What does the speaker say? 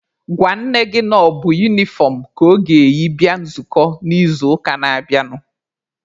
Gwa nne gị na ọ bụ unifọm ka ọ ga-eyi bịa nzukọ n'izuụka na-abịanụ!.